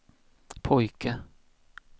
pojke